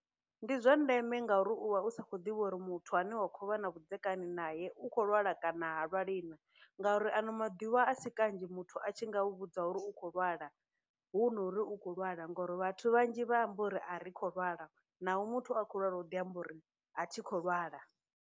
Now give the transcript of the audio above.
Ndi zwa ndeme ngauri u vha u sa khou ḓivha uri muthu ane wa khou vha na vhudzekani nae u khou lwala kana ha lwali na ngauri, ano maḓuvha a si kanzhi muthu a tshi nga u vhudza uri u khou lwala hu no uri u khou lwala ngori, vhathu vhanzhi vha amba uri a ri khou lwala, naho muthu a khou lwala u ḓi amba uri a thi khou lwala.